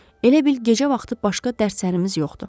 Elə bil gecə vaxtı başqa dərslərimiz yoxdur.